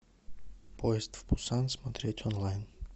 поезд в пусан смотреть онлайн